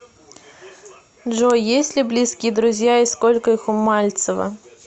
джой есть ли близкие друзья и сколько их у мальцева